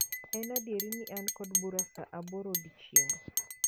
En adieri ni an kod bura saa aboro odiechieng'